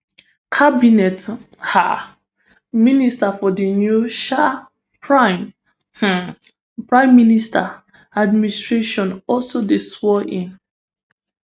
cabinet um ministers for di new um prime um prime minister administration also dey swornin